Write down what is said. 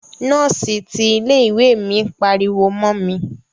Nọ́ọ́si ti ilé ìwé mi pariwo mọ mi.